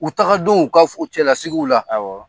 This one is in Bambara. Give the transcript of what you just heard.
U taga denw u ka u cɛlalasigiw la, awɔ.